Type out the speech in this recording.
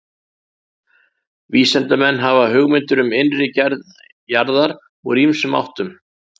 Vísindamenn hafa hugmyndir um innri gerð jarðar úr ýmsum áttum.